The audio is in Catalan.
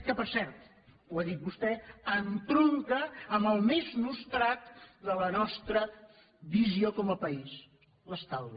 que per cert ho ha dit vostè entronca amb el més nostrat de la nostra visió com a país l’estalvi